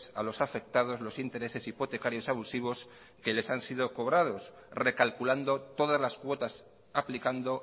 a los afectados los intereses hipotecarios abusivos que les han sido cobrados recalculando todas las cuotas aplicando